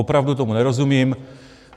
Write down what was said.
Opravdu tomu nerozumím.